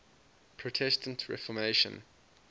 protestant reformation